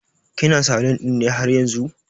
kina salun ɗin ne haryanzu?